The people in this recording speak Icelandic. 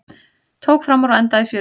Tók framúr og endaði í fjöru